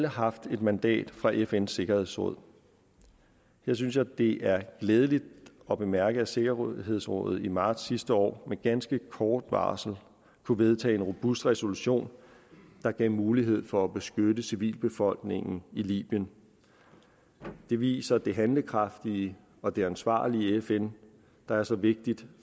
haft et mandat fra fns sikkerhedsråd der synes jeg det er glædeligt at bemærke at sikkerhedsrådet i marts sidste år med ganske kort varsel kunne vedtage en robust resolution der gav mulighed for at beskytte civilbefolkningen i libyen det viser det handlekraftige og det ansvarlige fn der er så vigtig